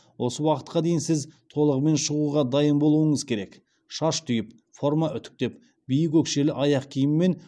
осы уақытқа дейін сіз толығымен шығуға дайын болуыңыз керек шаш түйіп форма үтіктеп биік өкшелі аяқ киіммен